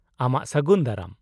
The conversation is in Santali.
-ᱟᱢᱟᱜ ᱥᱟᱹᱜᱩᱱ ᱫᱟᱨᱟᱢ ᱾